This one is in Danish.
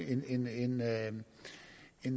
vil